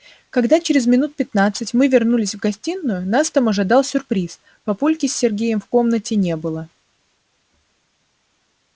когда через минут пятнадцать мы вернулись в гостиную нас там ожидал сюрприз папульки с сергеем в комнате не было